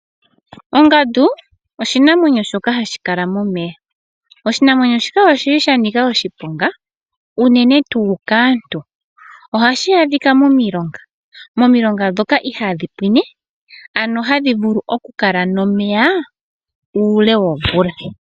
Ongandu, oshinamwenyo shoka ha shi kala momeya. Oshinamwenyo shika oshili shanika oshiponga unene tuu kaantu. Oha shi adhikwa momilonga, momilonga dhoka ihaadhi pwine, ano hadhi vulu oku kala nomeya uule womvula.